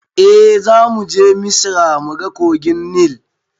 Eh zamuje misra muga kogin nil